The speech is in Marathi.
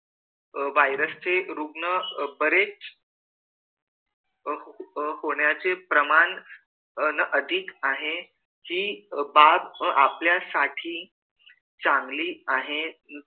अह virus चे रुग्ण बरेच होण्याचे प्रमाण अधिक आहे हि बाब आपल्यासाठी चांगली आहे